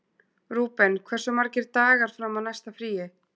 Rúben, hversu margir dagar fram að næsta fríi?